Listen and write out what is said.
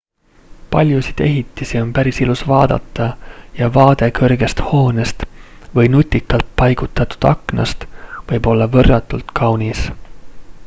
paljusid ehitisi on päris ilus vaadata ja vaade kõrgest hoonest või nutikalt paigutatud aknast võib olla võrratult kaunis